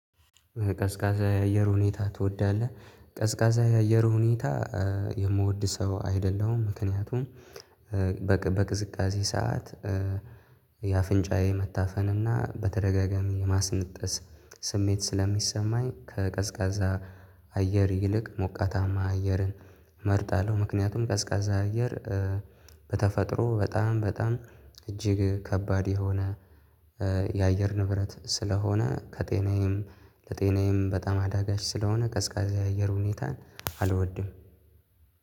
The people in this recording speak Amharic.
ቀዝቃዛ የአየር ሁኔታ ትወዳለህ? ቀዝቃዛ የአየር ሁኔታ የምወድ ሰው አይደለሁም ምክንያቱም በቅዝቃዜ ሰዓት የአፍንጫዬ መታፈን እና በተደጋጋሚ የማስነጠስ ስሜት ስለሚሰማኝ ከቀዝቃዛ አየር ይልቅ ሞቃታማ አየርን መርጣለሁ። ምክንያቱም ቀዝቃዛ አየር በተፈጥሮ በጣም በጣም እጅግ ከባድ የሆነ የአየር ንብረት ስለሆነ ከጤናዬም ለጤናዬም በጣም አዳጋች ስለሆነ ቀዝቃዛ የአየር ሁኔታን አልወድም።